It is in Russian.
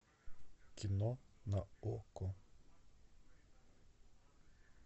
кино на окко